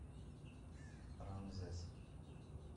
рамзес